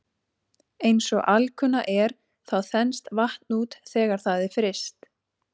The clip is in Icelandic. Eins og alkunna er þá þenst vatn út þegar það er fryst.